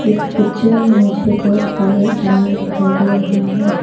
इस पिक्चर में मुझे बहुत सारे अनार दिखाई दे रहा है।